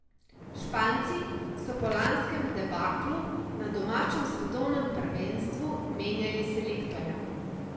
Španci so po lanskem debaklu na domačem svetovnem prvenstvu menjali selektorja.